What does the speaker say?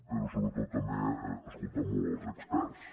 però sobretot també escoltar molt els experts